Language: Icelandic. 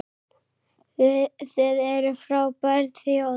Þið eruð frábær þjóð!